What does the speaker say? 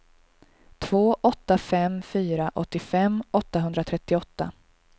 två åtta fem fyra åttiofem åttahundratrettioåtta